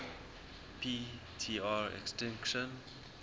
p tr extinction